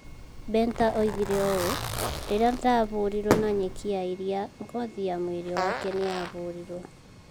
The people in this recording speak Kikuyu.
Benta oigire ũũ: 'Rĩrĩa ndaahũrirũo na nyeki ya iria, ngothi ya mwĩrĩ wake nĩ yahũrirũo.